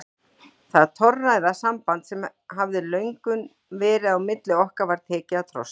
Það torræða samband sem hafði löngum verið á milli okkar var tekið að trosna.